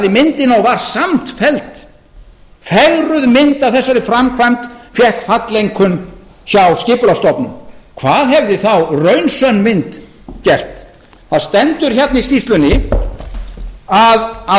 myndina og var samt felld fegruð mynd af þessari framkvæmd fékk falleinkunn hjá skipulagsstofnun hvað hefði þá raunsönn mynd gert það stendur hérna í skýrslunni að að